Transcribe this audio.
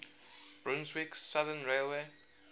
brunswick southern railway